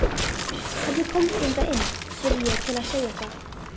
Hvernig komstu hingað inn? spurði ég til að segja eitthvað.